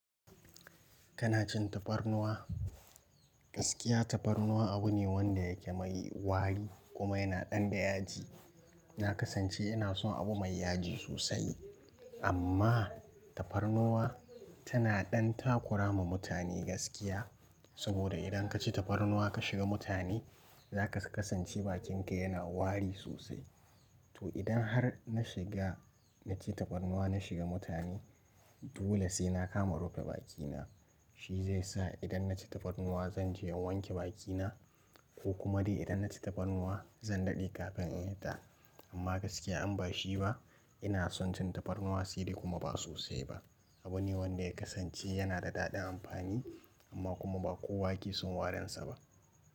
Kana cin tafarnuwa? Gaskiya tafarnuwa abu ne wanda yake mai wari kuma yana ɗan da yaji. Na kasance inason abu mai yaji sosai amman tafarnuwa tan dan takurama mutane gaskiya. Saboda idan ka ci tafarnuwa ka shiga mutane za ka kasance bakinka yana wari sosai. Idan har na shiga naci tafarnuwa nashiga mutane dole sai na kama rufa bakina. Shi zai sa idan na ci tafarnuwa zanje in wanke bakina ko kuma dai idan na ci tafarnuwa zan daɗe kafin in fita. Amma gaskiya in ba shi ba ina son cin tafarnuwa sai dai kuma ba sosai ba. Abu ne wanda ya kasance yana da daɗin amfani amma kuma ba kowa ke son warinsa ba.